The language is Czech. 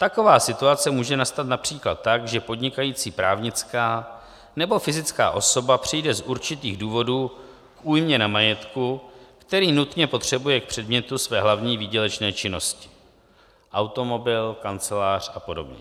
Taková situace může nastat například tak, že podnikající právnická nebo fyzická osoba přijde z určitých důvodů k újmě na majetku, který nutně potřebuje k předmětu své hlavní výdělečné činnosti: automobil, kancelář a podobně.